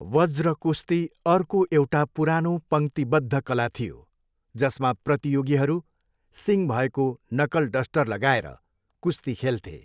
वज्र कुस्ती अर्को एउटा पुरानो पङ्क्तिबद्ध कला थियो जसमा प्रतियोगीहरू सिङ भएको नकलडस्टर लगाएर कुस्ती खेल्थे।